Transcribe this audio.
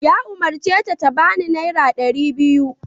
Ya umarce ta ta bani naira dari biyu!